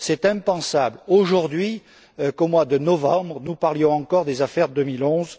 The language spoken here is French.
Il est impensable, aujourd'hui, qu'au mois de novembre, nous parlions encore des affaires de l'année